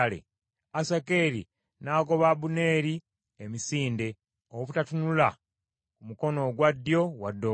Asakeri n’agoba Abuneeri emisinde, obutatunula ku mukono ogwa ddyo wadde ogwa kkono.